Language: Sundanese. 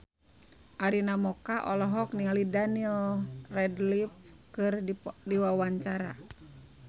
Arina Mocca olohok ningali Daniel Radcliffe keur diwawancara